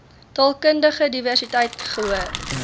taalkundige diversiteit gehoor